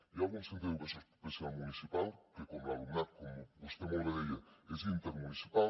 hi ha algun centre d’educació especial municipal que com l’alumnat com vostè molt bé deia és intermunicipal